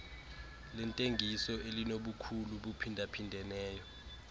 lentengiso elibukhulu buphindaphindeneyo